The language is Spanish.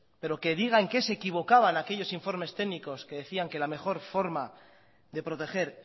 pero que diga en qué se equivocaban aquellos informes técnicos que decían que la mejor forma de proteger